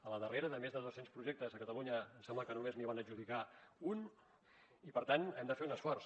a la darrera de més de dos cents projectes a catalunya em sembla que només n’hi van adjudicar un i per tant hem de fer un esforç